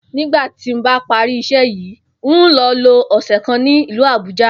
Nígbà tí mo bá parí is̩é̩ yìí, n óò lo̩ lo ò̩sè̩ kan ní ìlú Àbúja